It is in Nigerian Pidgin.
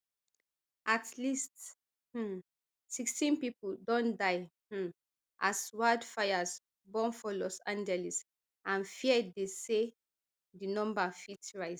at least um sixteen pipo don die um as wildfires burn for los angeles and fear dey say di number fit rise